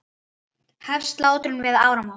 Hefst slátrun fyrir áramót.